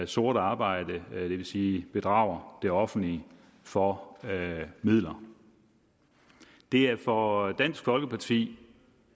sort arbejde det vil sige bedrager det offentlige for midler det er for dansk folkeparti